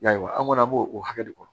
Yarɔ an kɔni an b'o o hakɛ de kɔnɔ